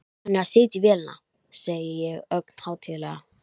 Hann er að setja í vélina, segi ég ögn hátíðlega.